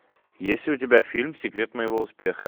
есть ли у тебя фильм секрет моего успеха